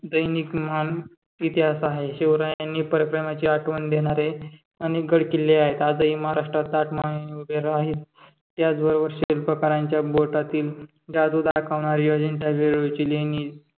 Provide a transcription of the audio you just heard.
पावरा दैनिक महान इतिहास आहे शिवरायांनी खरं प्रेमाची आठवण देणारे अनेक गडकिल्ले आहेत आजही महाराष्ट्रात ताठ मानेने उभे राहील त्याचबरोबर शिल्पकारांच्या पोटातील जादू दाखवणारी अजिंठा-वेरूळची लेणी